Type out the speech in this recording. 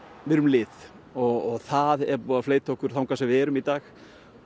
við erum lið og það er búið að fleyta okkur þangað sem við erum í dag